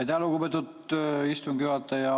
Aitäh, lugupeetud istungi juhataja!